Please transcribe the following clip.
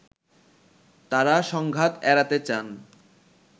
তারা সংঘাত এড়াতে চান